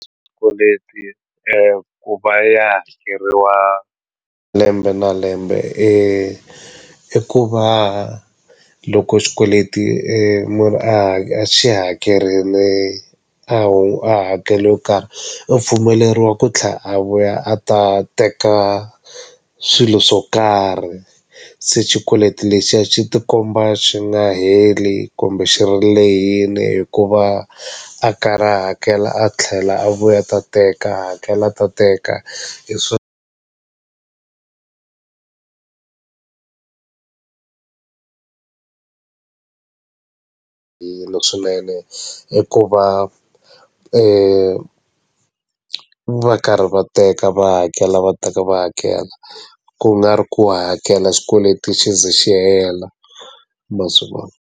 Swikweleti ku va ya hakeriwa lembe na lembe i ku va loko xikweleti munhu a a xi hakerile a hakele yo karhi u pfumeleriwa ku tlhe a vuya a ta teka swilo swo karhi se xikweleti lexiya xi ti komba xi nga heli kumbe xi ri lehile hikuva a karhi a hakela a tlhela a vuya ta teka hakela ta teka hi hi swona ene i ku va va karhi va teka va hakela va teka va hakela ku nga ri ku hakela xikweleti xi ze xi hela ma swi vona.